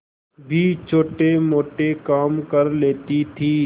भी छोटेमोटे काम कर लेती थी